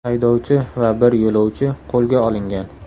Haydovchi va bir yo‘lovchi qo‘lga olingan.